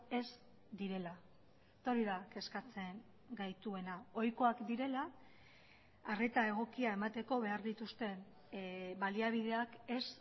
ez direla eta hori da kezkatzen gaituena ohikoak direla arreta egokia emateko behar dituzten baliabideak ez